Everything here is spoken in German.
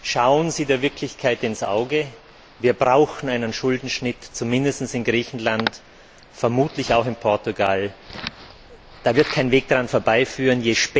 Schauen Sie der Wirklichkeit ins Auge Wir brauchen einen Schuldenschnitt, zumindest in Griechenland, vermutlich auch in Portugal. Da wird kein Weg daran vorbeiführen.